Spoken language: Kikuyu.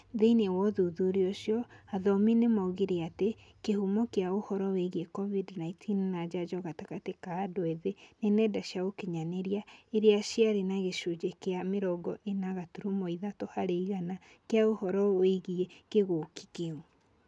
Thìinĩ wa ũthuthuria ũcio, athomi nĩ moigire atĩ kĩhumo kĩa ũhooro wĩgiĩ covid-19 na njanjo gatagatĩ ka andũ ethĩ nĩ nenda cia ũkinyanĩrĩa iria ciarĩ na gĩcunjĩ kĩa mĩrongo ĩna gaturumo ithatũ harĩ igana kĩa ũhoro ũrĩa wĩgiĩ king'ũki kĩu.